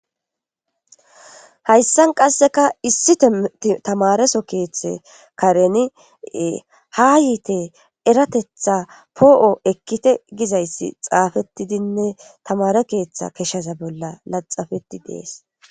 Hayssan qasseka issi timirtte tamare soo keethe kareni haa yiite eratetha poo7o ekkite gizayssi xaafettidinne tamare keetha keshaza bolla laxxafetti dees.